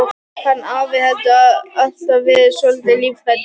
Hann afi hefur alltaf verið svolítið lífhræddur.